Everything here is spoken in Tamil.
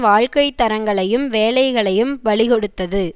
வாழ்க்கை தரங்களையும் வேலைகளையும் பலிகொடுத்தது